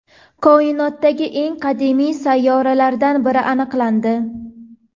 Koinotdagi eng qadimiy sayyoralardan biri aniqlandi.